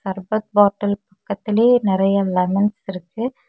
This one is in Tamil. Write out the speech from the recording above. சர்பத் பாட்டில் பக்கத்திலே நெறயா லெமன்ஸ் இருக்கு.